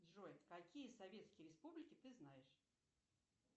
джой какие советские республики ты знаешь